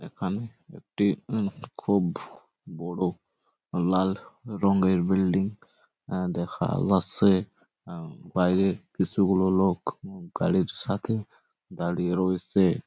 এখানে একটি হুম খুব বোরো লাল রঙের বিল্ডিং দেখা যাচ্ছে | বাইরে কিছু গুলো লোক গাড়ির সাথে দাঁড়িয়ে রয়েছে।